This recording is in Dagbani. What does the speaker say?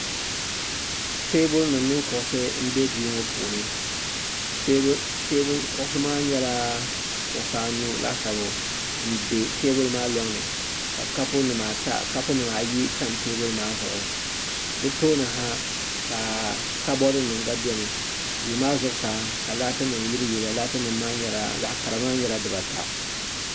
teebulinima mini kuɣisi m-be duu ŋɔ puuni kuɣisi maa nyɛla kuɣisi anu laasabu m-be teebuli maa lɔŋ ni ka kopunima ayi tam teebuli maa zuɣu di tooni ha ka kabɔrinima gba beni duu maa zuɣusaa ka laatinima yiliyiliya laatinima maa zaɣ' kara maa nyɛla dibaata